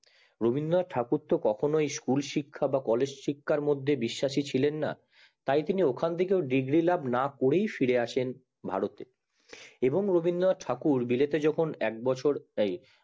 রবীন্দ্রনাথ ঠাকুর তো কখনোই school শিক্ষা বা college শিক্ষার মধ্যে বিশ্বাসী ছিলেন না তাই তিনি ওখান থেকে ডিগ্ৰী লাভ না করেই ফিরে আসেন ভারতে এবং রবীন্দ্রনাথ ঠাকুর বিলেতে যখন এক বছর এই